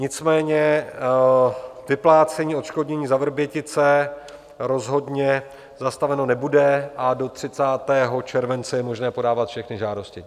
Nicméně vyplácení odškodnění za Vrbětice rozhodně zastaveno nebude a do 30. července je možné podávat všechny žádosti.